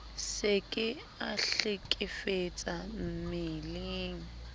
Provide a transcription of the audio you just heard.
se ke a hlekefetsa mmeleng